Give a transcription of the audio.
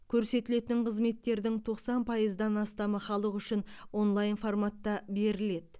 көрсетілетін қызметтердің тоқсан пайыздан астамы халық үшін онлайн форматта беріледі